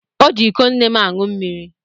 O ji iko nne m aṅụ mmiri.